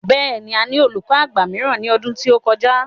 Bẹ́ẹ̀ ni, a ní olùkọ àgbà mìíràn ní ọdún tí ó kọjá.